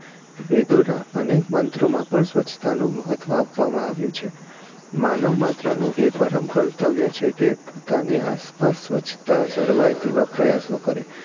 વેદો નાં અનેક મંત્રોમાં પણ સ્વચ્છતા નું મહત્વ આપવામાં આવ્યું છે માનવ માત્ર નું એ પરમ કર્તવ્ય છે કે પોતાની આસપાસ સ્વચ્છતા જળવાય તેવા પ્રયાશો કરે